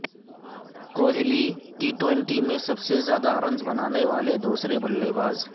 Kohli T twenty میں سب سے زیادہ رنز بنانے والے دوسرے بلے باز